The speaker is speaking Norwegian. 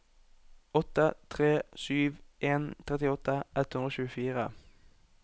åtte tre sju en trettiåtte ett hundre og tjuefire